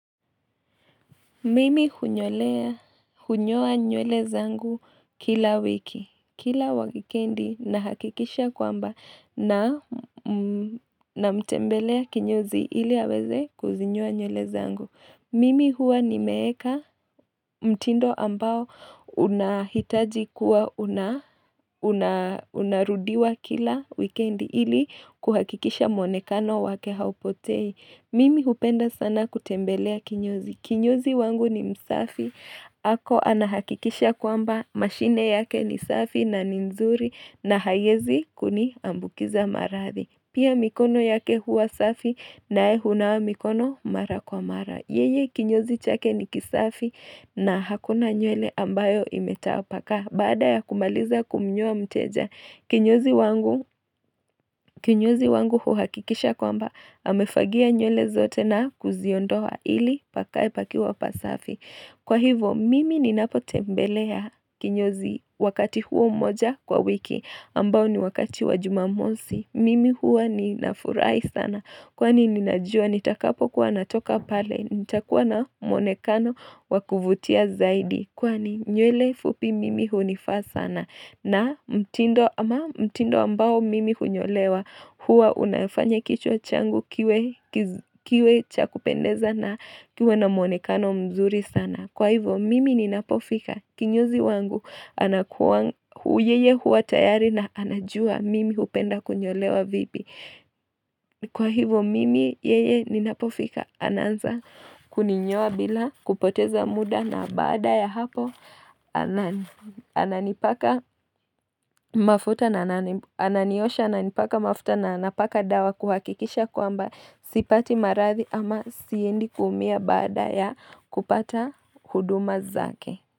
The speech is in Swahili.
Mimi hunyoa nywele zangu kila wiki, kila wikendi nahakikisha kwamba namtembelea kinyozi ili aweze kuzinyoa nywele zangu. Mimi huwa nimeweka mtindo ambao unahitaji kuwa unarudiwa kila wikendi ili kuhakikisha mwonekano wake haupotei. Mimi hupenda sana kutembelea kinyozi. Kinyozi wangu ni msafi, ako anahakikisha kwamba, mashine yake ni safi na ni mzuri na haiwezi kuniambukiza maradhi. Pia mikono yake huwa safi na ye hunawa mikono mara kwa mara. Yeye kinyozi chake ni kisafi na hakuna nywele ambayo imetapakaa. Baada ya kumaliza kumnyoa mteja, kinyozi wangu huhakikisha kwamba amefagia nywele zote na kuziondoa ili pakae pakiwa pasafi. Kwa hivo, mimi ninapotembelea kinyozi wakati huo moja kwa wiki, ambao ni wakati wa jumamosi. Mimi hua ninafurai sana, kwani ninajua nitakapo kuwa natoka pale, nitakuwa na muonekano wa kuvutia zaidi. Kwani nywele fupi mimi hunifaa sana na mtindo ambao mimi hunyolewa huwa unafanya kichwa changu kiwe cha kupendeza na kiwe na mwonekano mzuri sana. Kwa hivyo mimi ninapofika kinyozi wangu anakuwa yeye huwa tayari na anajua mimi hupenda kunyolewa vipi. Kwa hivyo mimi yeye ninapofika ananza kuninyoa bila kupoteza muda na baada ya hapo ananipaka mafuta na ananiosha ananipaka mafuta na anapaka dawa kuhakikisha kwamba sipati maradhi ama siendi kuumia baada ya kupata huduma zake.